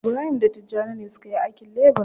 Ibrahim da Tijjani ne suka yi aikin lebura.